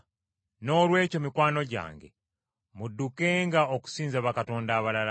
Noolwekyo, mikwano gyange, muddukenga okusinza bakatonda abalala.